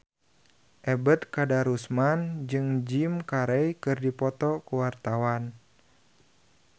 Ebet Kadarusman jeung Jim Carey keur dipoto ku wartawan